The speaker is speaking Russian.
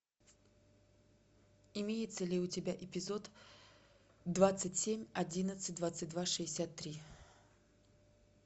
имеется ли у тебя эпизод двадцать семь одиннадцать двадцать два шестьдесят три